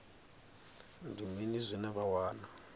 ndi mini zwine vha wana